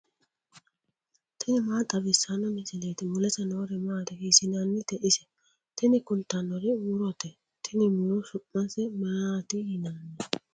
tini maa xawissanno misileeti ? mulese noori maati ? hiissinannite ise ? tini kultannori murote. tini muro su'mase maati yinanni?